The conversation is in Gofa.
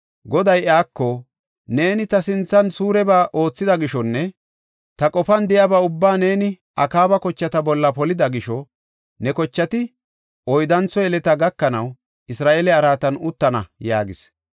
Goday Iyyuko, “Neeni ta sinthan suureba oothida gishonne ta qofan de7iyaba ubbaa neeni Akaaba kochata bolla polida gisho, ne kochati oyddantho yeleta gakanaw, Isra7eele araatan uttana” yaagis.